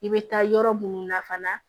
I bɛ taa yɔrɔ munnu na fana